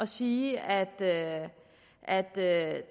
sige at at der er